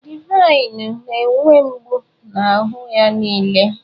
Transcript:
Divine na-enwe mgbu n'ahụ ya niile.